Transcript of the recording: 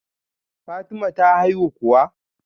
Fatima ta haihu kuwa?